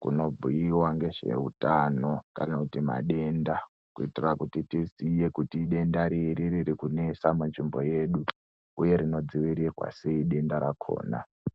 kunobhuiwa ngezveutano kana kuti madenda kuitira kuti tiziye kuti idenda riri ririkunetsa munzvimbo yedu uye rinodziirirwa sei denda rakhona.